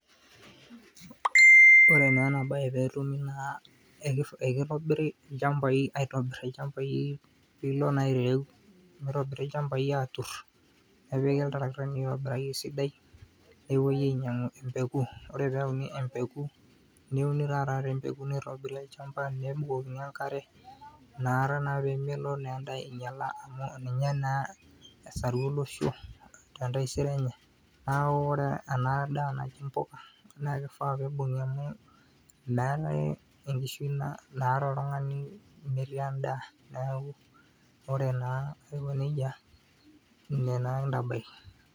Ore naa ena baye pee etumi naa ekitobiri ilchambai aitobirr ilchambai pee ilo naa airem mitobiri ilchambai aaturr nepiki iltarakitani oobaya esidai nepuoi ainyiang'u empeku ore pee epuoi aayau empeku neuni taa taata nitobiri olchamba nebukokini enkare inakata naa pee melo endaa ainyiala amu ninye naa esaru olosho te ntaisere enye neeku ore ena daa najii mpuka na kifaa pee ibung'i amu endaa naake enkishui naata oltung'ani metii endaa, neeku ore naa aiko neijia ine naa kintabaiki.